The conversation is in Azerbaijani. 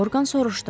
Orqan soruşdu.